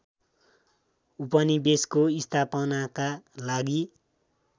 उपनिवेशको स्थापनाका लागि